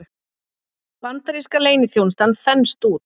Bandaríska leyniþjónustan þenst út